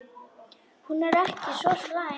Hún er ekki svo slæm.